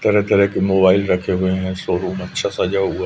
तरह तरह के मोबाइल रखे हुए हैं शोरूम अच्छा सजा हुआ--